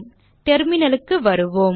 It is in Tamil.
terminalக்கு வருவோம்